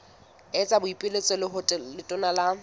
etsa boipiletso ho letona la